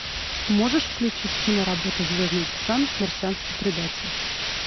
можешь включить киноработу звездный десант марсианский предатель